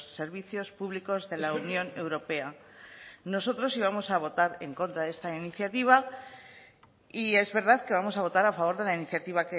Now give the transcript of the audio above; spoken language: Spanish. servicios públicos de la unión europea nosotros íbamos a votar en contra de esta iniciativa y es verdad que vamos a votar a favor de la iniciativa